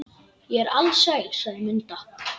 Ég er alsæl, sagði Munda.